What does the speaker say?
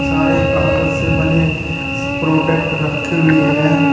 सारे कागज से बने प्रोडक्ट रखी हुई है।